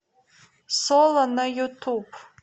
соло на ютуб